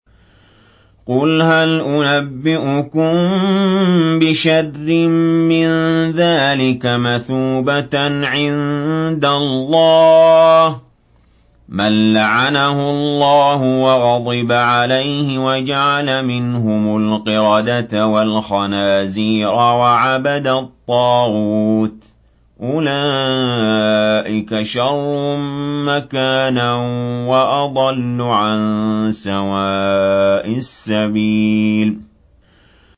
قُلْ هَلْ أُنَبِّئُكُم بِشَرٍّ مِّن ذَٰلِكَ مَثُوبَةً عِندَ اللَّهِ ۚ مَن لَّعَنَهُ اللَّهُ وَغَضِبَ عَلَيْهِ وَجَعَلَ مِنْهُمُ الْقِرَدَةَ وَالْخَنَازِيرَ وَعَبَدَ الطَّاغُوتَ ۚ أُولَٰئِكَ شَرٌّ مَّكَانًا وَأَضَلُّ عَن سَوَاءِ السَّبِيلِ